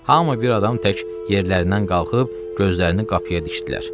Hamı bir adam tək yerlərindən qalxıb gözlərini qapıya dikdilər.